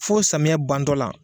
F'o samiyɛ bantɔla.